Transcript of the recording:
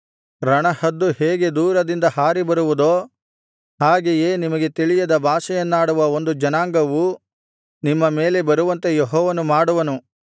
ರಣಹದ್ದು ಹೇಗೆ ದೂರದಿಂದ ಹಾರಿಬರುವುದೋ ಹಾಗೆಯೇ ನಿಮಗೆ ತಿಳಿಯದ ಭಾಷೆಯನ್ನಾಡುವ ಒಂದು ಜನಾಂಗವು ನಿಮ್ಮ ಮೇಲೆ ಬರುವಂತೆ ಯೆಹೋವನು ಮಾಡುವನು